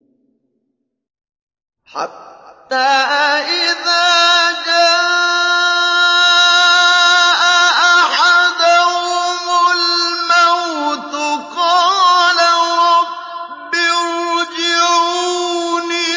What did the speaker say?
حَتَّىٰ إِذَا جَاءَ أَحَدَهُمُ الْمَوْتُ قَالَ رَبِّ ارْجِعُونِ